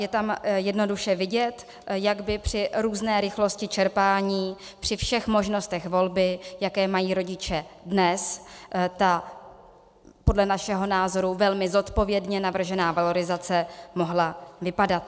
Je tam jednoduše vidět, jak by při různé rychlosti čerpání, při všech možnostech volby, jaké mají rodiče dnes, ta podle našeho názoru velmi zodpovědně navržená valorizace mohla vypadat.